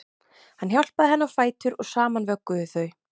Hann hjálpaði henni á fætur og saman vögguðu þau